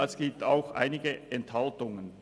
es gibt auch einige Enthaltungen.